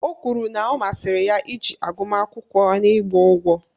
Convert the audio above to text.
O kwuru na ọ masịrị ya iji agụmakwụkwọ n'ịgba ụgwọ